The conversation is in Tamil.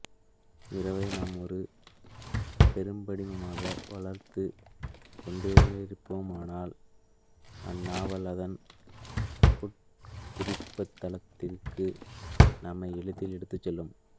இரவை நாம் ஒரு பெரும்படிமமாக வளர்த்துக் கொண்டோமென்றால் இந்நாவல் அதன் உட்குறிப்புத்தளத்துக்கு நம்மை எளிதில் எடுத்துச் செல்லும்